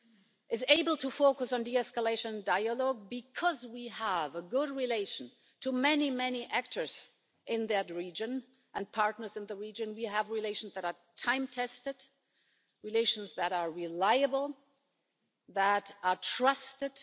It is able to focus on de escalation dialogue because we have good relations with many, many actors in that region and partners in the region. We have relations that are time tested, relations that are reliable, that are trusted.